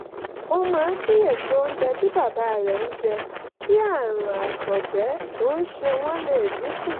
ó máa ń kíyèsí oúnjẹ tí bàbá rẹ̀ ń jẹ kí àrùn àtọ̀gbẹ tó ń ṣe wọ́n lè dín kù